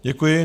Děkuji.